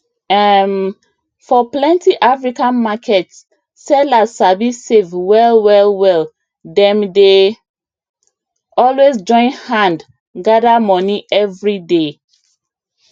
um for plenty african markets sellers sabi save well well well dem dey always join hand gather money every day